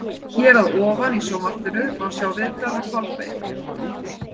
Hér að ofan í Sjónvarpinu má sjá viðtal við Kolbeinn.